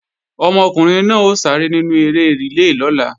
Ọmọkùnrin náà ó sáré nínú eré rìlé lọ́la